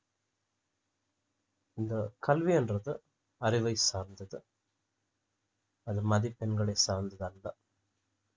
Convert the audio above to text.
இந்த கல்வின்றது அறிவை சார்ந்தது அது மதிப்பெண்களை சார்ந்தது அல்ல